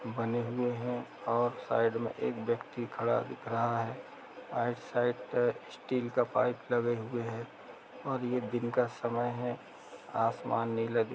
--बने हुए हैं और साइड में एक व्यक्ति खड़ा दिख रहा है और साइड पे स्टील का पाइप लगे हुए हैं और ये दिन का समय है आसमान नीला दिख--